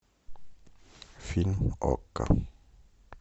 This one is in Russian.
фильм окко